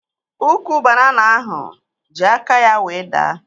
Ukwu banana ahụ ji aka ya wee daa